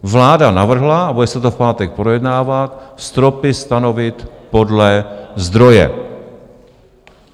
Vláda navrhla - a bude se to v pátek projednávat - stropy stanovit podle zdroje.